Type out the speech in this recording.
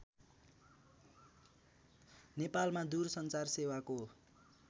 नेपालमा दूरसञ्चार सेवाको